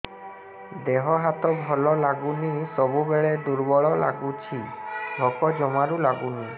ଦେହ ହାତ ଭଲ ଲାଗୁନି ସବୁବେଳେ ଦୁର୍ବଳ ଲାଗୁଛି ଭୋକ ଜମାରୁ ଲାଗୁନି